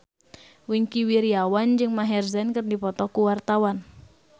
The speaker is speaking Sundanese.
Wingky Wiryawan jeung Maher Zein keur dipoto ku wartawan